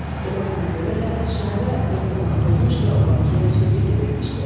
Elə buna görə də şairə böhtan atılmış və o Bakıya sürgün edilmişdi.